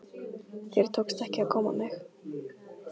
Þér tókst ekki að góma mig.